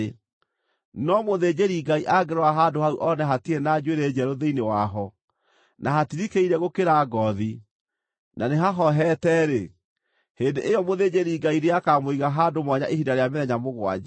No, mũthĩnjĩri-Ngai angĩrora handũ hau one hatirĩ na njuĩrĩ njerũ thĩinĩ waho, na hatirikĩire gũkĩra ngoothi, na nĩhahohete-rĩ, hĩndĩ ĩyo mũthĩnjĩri-Ngai nĩakamũiga handũ mwanya ihinda rĩa mĩthenya mũgwanja.